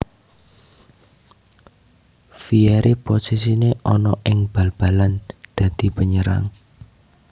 Vieri posisine ana ing bal balan dadi penyerang